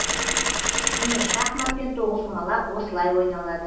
міне шахмат пен тоғызқұмалақ осылай ойналады